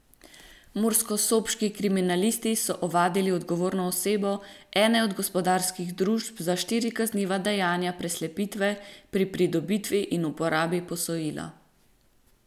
Murskosoboški kriminalisti so ovadili odgovorno osebo ene od gospodarskih družb za štiri kazniva dejanja preslepitve pri pridobitvi in uporabi posojila.